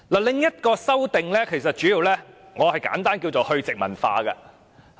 另一項修訂，我簡單稱為"去殖民化"的修訂。